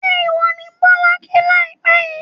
ṣé ìwọ ni Bọ́lá kí láìpẹ́ yìí?